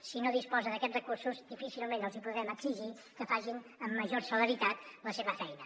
si no disposa d’aquests recursos difícilment els hi podrem exigir que facin amb major celeritat la seva feina